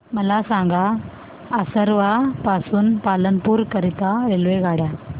मला सांगा असरवा पासून पालनपुर करीता रेल्वेगाड्या